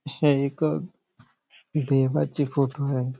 हे एक देवाची फोटो आहे.